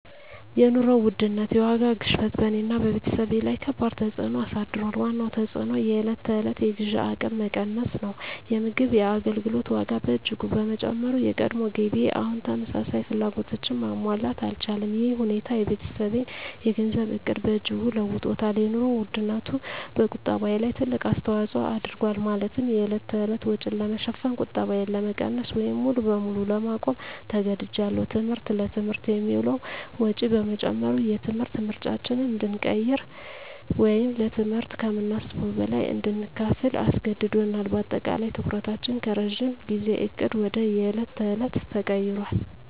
የኑሮ ውድነት (የዋጋ ግሽበት) በእኔና በቤተሰቤ ላይ ከባድ ተፅዕኖ አሳድሯል። ዋነኛው ተፅዕኖ የዕለት ተዕለት የግዢ አቅሜ መቀነስ ነው። የምግብና የአገልግሎት ዋጋ በእጅጉ በመጨመሩ፣ የቀድሞ ገቢዬ አሁን ተመሳሳይ ፍላጎቶችን ማሟላት አልቻለም። ይህ ሁኔታ የቤተሰቤን የገንዘብ ዕቅድ በእጅጉ ለውጦታል - የኑሮ ውድነቱ በቁጠባዬ ላይ ትልቅ አስተዋጽኦ አድርጓል፤ ማለትም የዕለት ተዕለት ወጪን ለመሸፈን ቁጠባዬን ለመቀነስ ወይም ሙሉ በሙሉ ለማቆም ተገድጃለሁ። ትምህርት: ለትምህርት የሚውለው ወጪ በመጨመሩ፣ የትምህርት ምርጫዎችን እንድንቀይር ወይም ለትምህርት ከምናስበው በላይ እንድንከፍል አስገድዶናል። በአጠቃላይ፣ ትኩረታችን ከረጅም ጊዜ ዕቅድ ወደ የዕለት ተዕለት ተቀይሯል።